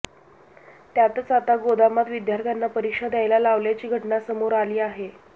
त्यातच आता गोदामात विद्यार्थ्यांना परीक्षा द्यायला लावल्याची घटना समोर आली आहे